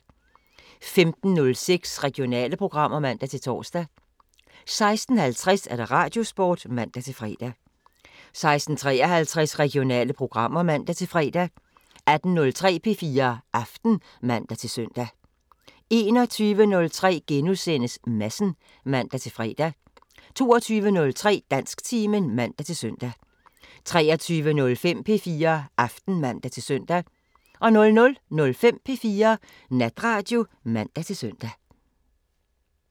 15:06: Regionale programmer (man-tor) 16:50: Radiosporten (man-fre) 16:53: Regionale programmer (man-fre) 18:03: P4 Aften (man-søn) 21:03: Madsen *(man-fre) 22:03: Dansktimen (man-søn) 23:05: P4 Aften (man-søn) 00:05: P4 Natradio (man-søn)